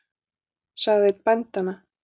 sagði einn bændanna.